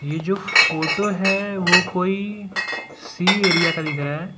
ये जो फोटो है वो कोई सी एरिया का दिख रहा है।